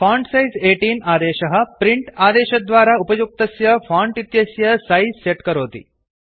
font size 18 आदेशः print आदेशद्वारा उपयुक्तस्य फाण्ट् इत्यस्य सैज् सेट् करोति